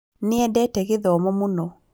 Nĩendete gĩthomo mũno